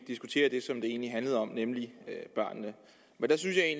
diskutere det som det egentlig handlede om nemlig børnene men